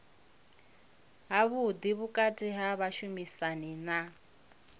havhuḓi vhukati ha vhashumisani na